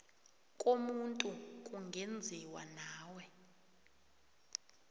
komuntu kungenziwa nawe